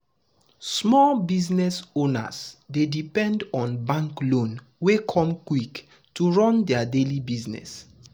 small business owners dey depend on bank loan wey come quick to run their daily business.